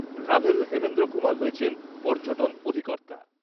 Ravel Hemendra Kumar হয়েছেন পর্যটন অধিকর্তা।